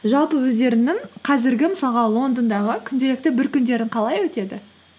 жалпы өздеріңнің қазіргі мысалға лондондағы күнделікті бір күндерің қалай өтеді